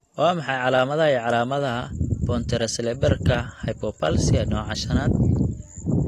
Waa maxay calaamadaha iyo calaamadaha Pontocerebellarka hypoplasia nooca shanaad?